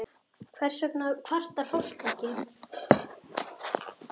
Hvers vegna kvartar fólk ekki?